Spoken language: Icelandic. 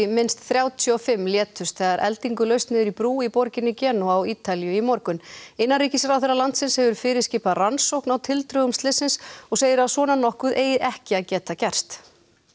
minnst þrjátíu og fimm létust þegar eldingu laust niður í brú í borginni Genúa á Ítalíu í morgun innanríkisráðherra landsins hefur fyrirskipað rannsókn á tildrögum slyssins og segir að svona nokkuð eigi ekki að geta gerst